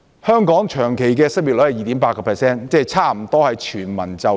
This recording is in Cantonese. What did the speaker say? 香港的長期失業率是 2.8%， 即差不多是全民就業。